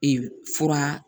Ee fura